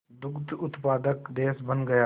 दुग्ध उत्पादक देश बन गया